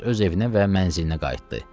Hər kəs öz evinə və mənzilinə qayıtdı.